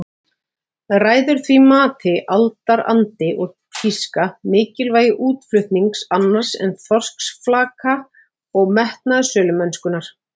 Ræður því mati aldarandi og tíska, mikilvægi útflutnings annars en þorskflaka og metnaður sölumennskunnar.